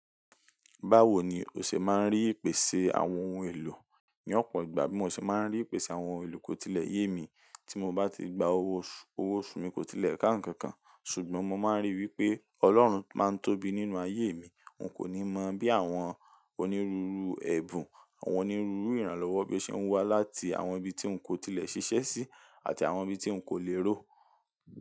Báwo ni o ṣe máa ń rí ìpèsè àwọn ohun èlò? Ní ọ̀pọ̀ ìgbà bí mo ṣe máa ń rí ìpèsè àwọn ohun èlò kò tilẹ̀ yé mi tí mo bá ti gba owó oṣù mi kò tilẹ̀ káǹkankan, ṣùgbọ́n mo máa ń rí i wí pé Ọlọ́run máa ń tóbi nínú ayé mi. N kò ní mọ bí àwọn onírúurú ẹ̀bùn, àwọn onírúurú ìrànlọ́wọ́ bí ṣe ń wá láti àwọn ibi tí n kò tilẹ̀ ṣiṣẹ́ sí àti àwọn ibi tí n kò lè ró.